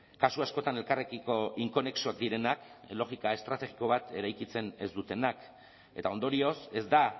kasu askotan elkarrekiko inkonexoak direnak logika estrategiko bat eraikitzen ez dutenak eta ondorioz ez da